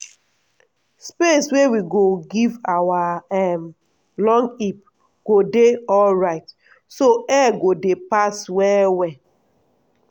space wey we go give our um long heap go dey alrite so air go dey pass well well.